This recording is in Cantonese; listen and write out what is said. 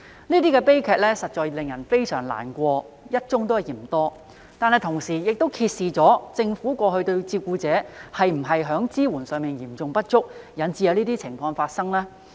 這些悲劇實在令人非常難過，"一宗也嫌多"，但同時亦揭示政府過去對照顧者的支援是否嚴重不足，以致有這些情況發生呢？